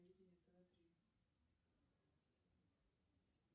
моя карта на перевыпуске подскажите когда можно будет его получить